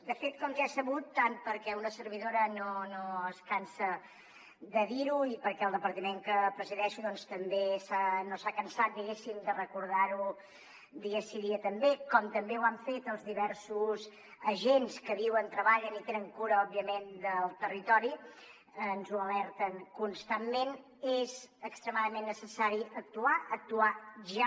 de fet com ja és sabut tant perquè una servidora no es cansa de dir ho i perquè el departament que presideixo doncs tampoc no s’ha cansat diguéssim de recordar ho dia sí dia també com també ho han fet els diversos agents que viuen treballen i tenen cura òbviament del territori ens ho alerten constantment és extremadament necessari actuar actuar ja